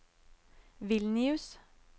Vilnius